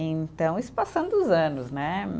Então, isso passando os anos, né?